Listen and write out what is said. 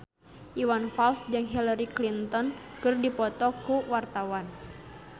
Iwan Fals jeung Hillary Clinton keur dipoto ku wartawan